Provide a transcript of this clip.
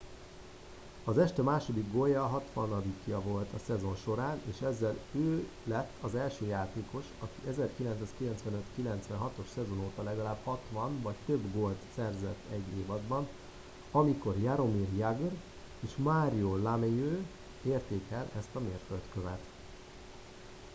az este második gólja a hatvanadikja volt a szezon során és ezzel ő kett az első játékos aki az 1995-96-os szezon óta legalább 60 vagy több gólt szerzett egy évadban amikor jaromir jagr és mario lemieux érték el ezt a mérföldkövet